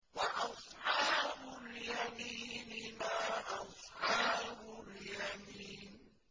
وَأَصْحَابُ الْيَمِينِ مَا أَصْحَابُ الْيَمِينِ